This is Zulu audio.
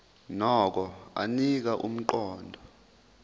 nokho anika umqondo